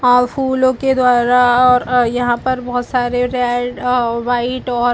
आ फूलों के द्वारा और यहाँ पे बहुत सारे रेड और वाइट और --